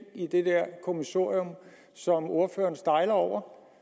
i dette kommissorium som ordføreren stejlede over